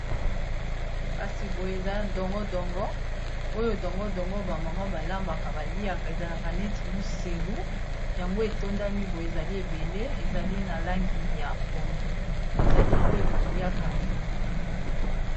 kasi boyo eza dongodongo oyo dongodongo bamama balambaka baliaka ezalaka neti moselu yango etondami boye ezali ebele ezali na langi ya pondu ezali oyo baliaka